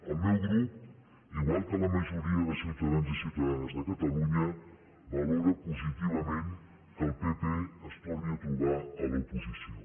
el meu grup igual que la majoria de ciutadans i ciutadanes de catalunya valora positivament que el pp es torni a trobar a l’oposició